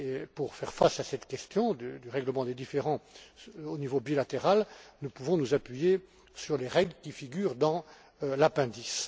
Pour faire face à cette question du règlement des différends au niveau bilatéral, nous pouvons nous appuyer sur les règles qui figurent dans l'appendice.